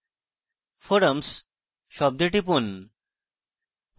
forums শব্দে টিপি